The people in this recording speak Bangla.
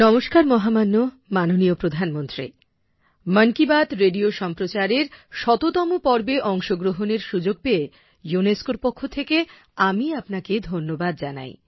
নমস্কার মহামান্য মাননীয় প্রধানমন্ত্রী মন কি বাত রেডিও সম্প্রচারের শততম পর্বে অংশগ্রহণের সুযোগ পেয়ে ইউনেস্কোর পক্ষ থেকে আমি আপনাকে ধন্যবাদ জানাই